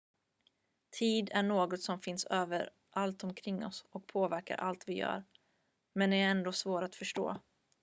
tid är något som finns överallt omkring oss och påverkar allt vi gör men ändå är svår att förstå